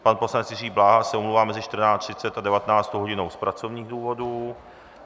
Pan poslanec Jiří Bláha se omlouvá mezi 14.30 a 19. hodinou z pracovních důvodů.